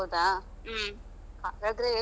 ಹೌದಾ?